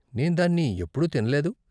నేను దాన్ని ఎప్పుడూ తినలేదు.